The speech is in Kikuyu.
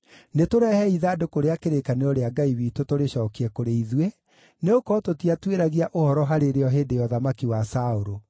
Nĩtũrehei ithandũkũ rĩa kĩrĩkanĩro rĩa Ngai witũ tũrĩcookie kũrĩ ithuĩ, nĩgũkorwo tũtiatuĩragia ũhoro harĩ rĩo hĩndĩ ya ũthamaki wa Saũlũ.”